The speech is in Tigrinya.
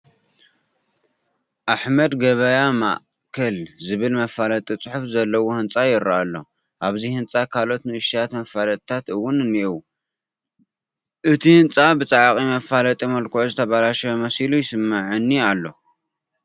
ኣሕመድ ገበያ ማእከል ዝብል መፋለጢ ፅሑፍ ዘለዎ ህንፃ ይርአ ኣሎ፡፡ ኣብዚ ህንፃ ካልኦት ንኡሽተያት መፋለጥታት እውን እኔዉ፡፡ እቲ ህንፃ ብፃዕቕ መፋለጢ መልክዑ ዝተበላሸወ መሲሉ ይስምዐኒ ኣሎ፡፡